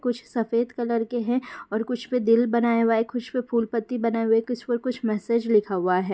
कुछ सफेद कलर के हैं और कुछ पर दिल बनाया हुआ है कुछ पर फूल पत्ती बनाए हुयें है कुछ पर कुछ मैसेज लिखा हुआ है।